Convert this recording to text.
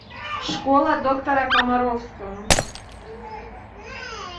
школа доктора комаровского